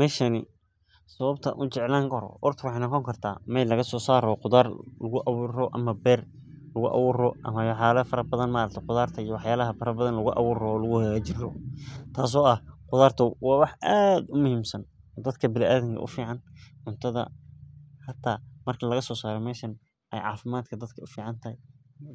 Meshani, sababta an u jeclan karo horta waxay noqoni kartah mel lagasosar rawo qudaar lugu awur rawo ama ber lugu awur rawo ama wax yala bathan maaragte qudarta iyo wax yala fara bathan lugu awur rawo lugu hagajin rawo. Tas oo ah qudarta wa wax ad u muhimsan oo dadka bini adamka u fican, cuntadha hata marki lagasosaro meshan ay cafimadka dadka u ficantahay,